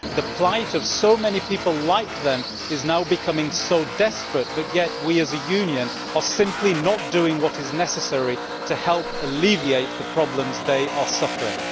The plight of so many people like them is now becoming so desperate, but yet we as a Union are simply not doing what is necessary to help alleviate the problems they are suffering.